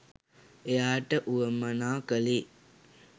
එයාට වුවමනා කළේ.